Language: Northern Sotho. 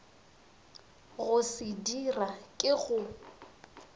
go se dira ke go